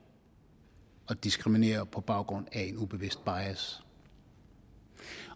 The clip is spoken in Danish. og diskriminerer på baggrund af en ubevidst bias